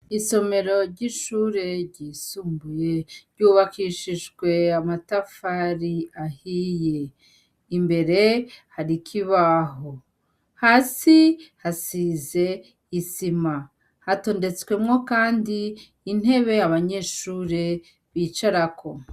Isomero ry'ishure ryisumbuye ryubakishishwe amatafari ahiye imbere harikibaho hasi hasize isima hatondetswemwo, kandi intebe abanyeshure bicarako.